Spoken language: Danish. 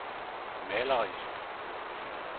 malerisk